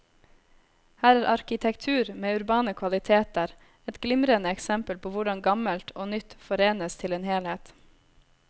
Her er arkitektur med urbane kvaliteter, et glimrende eksempel på hvordan gammelt og nytt forenes til en helhet.